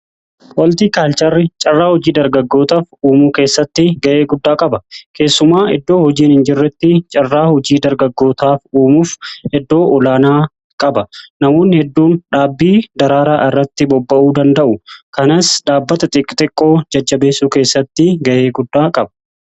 Hooltii kaalcharri carraa hojii dargaggootaaf uumuu keessatti ga'ee guddaa qaba. Keessumaa iddoo hojiin hin jirretti carraa hojii dargaggootaaf uumuuf eddoo olaanaa qaba. Namoonni hedduun dhaabbii daraaraa irratti bobba'uu danda'u kanaas dhaabbata xixiqqoo jajjabeessu keessatti ga'ee guddaa qaba.